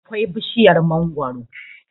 akwai bishiyar mangoro